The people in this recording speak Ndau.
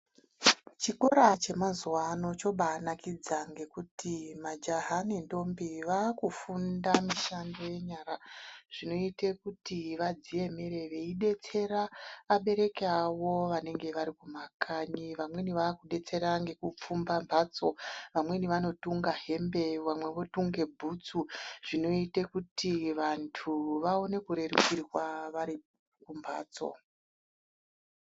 Chikora chemazuvano chobaanaikidza ngokuti majahaa nentombi vaakufunda mishando yenyara, zvinoite kuti vadziemere vaidetsera vabereki avo vanenge vari kumakanyi, vamweni vakudetsera ngekupfumba mbatsoo, vamweni anotunga hembe, vamwe votunge bhutsu, zvinoite kuti vantu vaone kurerukirwaa vari kumbatsoo.